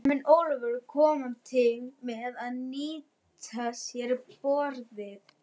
En mun Ólafur koma til með að nýta sér borðið?